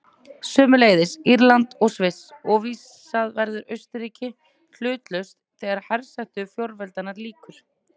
Sömuleiðis Írland og Sviss, og vísast verður Austurríki hlutlaust þegar hersetu fjórveldanna lýkur.